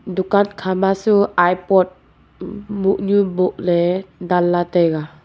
dukan khama chu iport mohnu boh dan lah tai a.